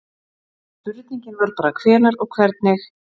spurningin var bara hvenær og hvernig